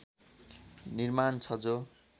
निर्माण छ जो